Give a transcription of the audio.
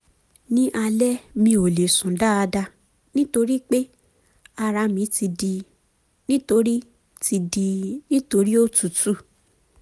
ní alẹ́ mi ò lè sùn dáadáa nítorí pé ara mi ti dí nítorí ti dí nítorí òtútù